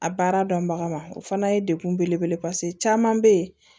A baara dɔnbaga ma o fana ye dekun belebele caman bɛ yen